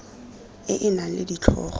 e e nang le ditlhogo